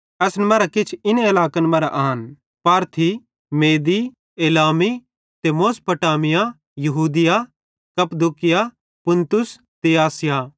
असन मरां किछ इन इलाकन मरां आन पारथी मेदी एलामी ते मेसोपोटामिया यहूदिया कप्पदूकिया पुन्तुस ते आसिया